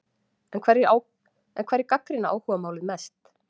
En hverjir gagnrýna áhugamálið helst?